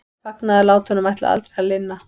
Fagnaðarlátunum ætlaði aldrei að linna.